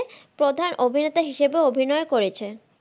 প্রধান অভিনেতা হিসেবে অভিনয় করেছেন।